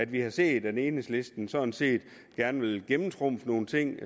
vi har set at enhedslisten sådan set gerne vil gennemtrumfe nogle ting